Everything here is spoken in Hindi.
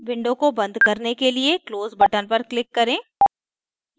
window को बंद करने के लिए close button पर click करें